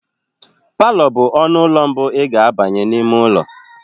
Palọ bụ ọnụ ụlọ mbụ ị ga abanye n'ime ụlọ.